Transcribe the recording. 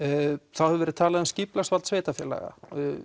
þá hefur verið talað um skipulagsvald sveitarfélaga